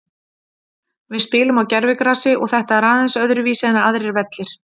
Við spilum á gervigrasi og þetta er aðeins öðruvísi en aðrir vellir.